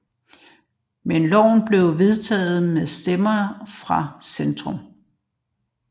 Men loven blev vedtaget med stemmer fra Centrum